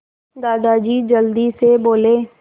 दादाजी जल्दी से बोले